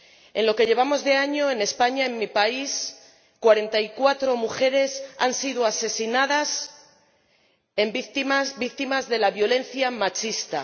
En lo que llevamos de año, en España, en mi país, 44 mujeres han sido asesinadas víctimas de la violencia machista.